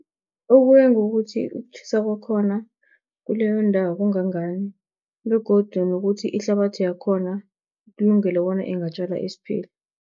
Ukuya ngokuthi ukutjhisa kwakhona kuleyo ndawo kungangani begodu nokuthi, ihlabathi yakhona ikulungile bona ingatjala isiphila.